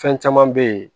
Fɛn caman be yen